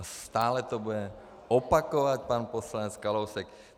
A stále to bude opakovat pan poslanec Kalousek.